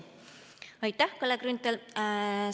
Aitäh, Kalle Grünthal!